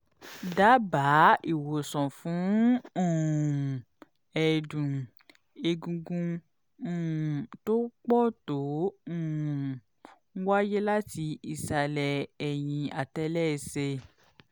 dábàá ìwòsàn fún um ẹ̀dùn-egungun um tó pọ̀ tó um ń wáyé láti ìsàlẹ̀ ẹ̀yìn àtẹ́lẹsẹ̀